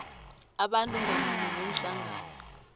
abantu ngamunye neenhlangano